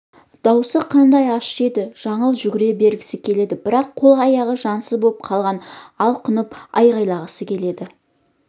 дауысы қандай ащы еді жаңыл жүгіре бергісі келеді бірақ қол-аяғы жансыз боп қалған алқынып айқайлағысы келеді